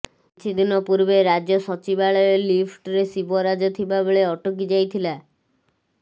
କିଛିଦିନ ପୂର୍ବେ ରାଜ୍ୟ ସଚିବାଳୟ ଲିଫ୍ଟରେ ଶିବରାଜ ଥିବା ବେଳେ ଅଟକି ଯାଇଥିଲା